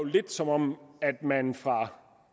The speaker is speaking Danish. som om man fra